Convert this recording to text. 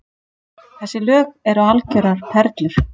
Þessi lög eru algjörar perlur